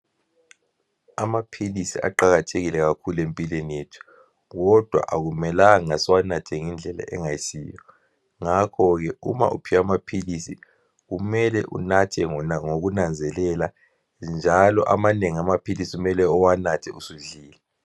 Amaphilisi aqakathekile kakhulu empilweni yethu, kodwa akumelanga siwanathe ngendlela engayisiyo. Ngakhoke uma uphiwe amaphilisi kumele unathe ngokunanzelela njalo amanengi amaphilisi kumele uwanathe usudlile.